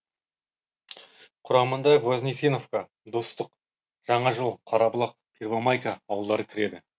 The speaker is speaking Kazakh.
құрамына вознесеновка достық жаңажол қарабұлақ первомайка ауылдары кіреді